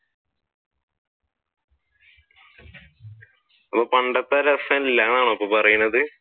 പണ്ടത്തെ രസമില്ലാ എന്നാണോ ഇപ്പൊ പറയുന്നത്?